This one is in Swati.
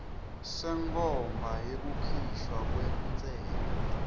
senkhomba yekukhishwa kwentsela